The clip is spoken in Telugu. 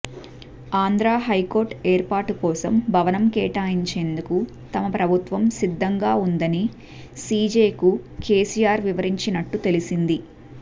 ఆంధ్ర హైకోర్టు ఏర్పాటు కోసం భవనం కేటాయించేందుకు తమ ప్రభుత్వం సిద్ధంగా ఉందని సిజేకు కెసిఆర్ వివరించినట్టు తెలిసింది